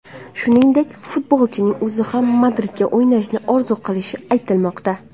Shuningdek, futbolchining o‘zi ham Madridda o‘ynashni orzu qilishi aytilmoqda.